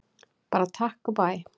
Bara takk og bæ!